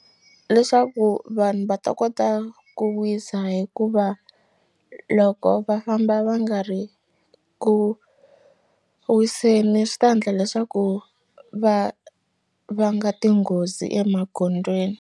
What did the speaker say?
Leswaku vanhu va ta kota ku wisa hikuva loko va famba va nga ri ku wiseni swi ta ndla leswaku va vanga tinghozi emagondzweni.